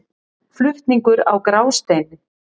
Flutningur á Grásteini.